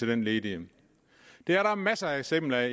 den ledige det er der masser af eksempler